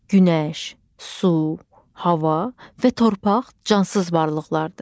Günəş, su, hava və torpaq cansız varlıqlardır.